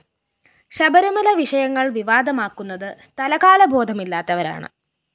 ശബരിമല വിഷയങ്ങള്‍ വിവാദമാക്കുന്നത് സ്ഥലകാലബോധമില്ലാത്തവരാണ്